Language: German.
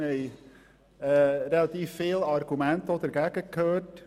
Wir haben auch relativ viele Argumente dagegen gehört.